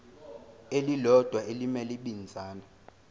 elilodwa elimele ibinzana